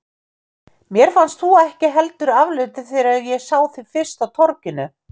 Mér fannst þú ekki heldur afleitur þegar ég sá þig fyrst á torginu.